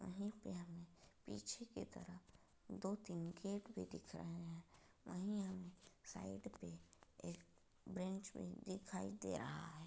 वही पे हमे पीछे की तरफ दो-तीन गेट भी दिख रहे हैं वही हमें साइड पे एक भी दिखाई दे रहा है।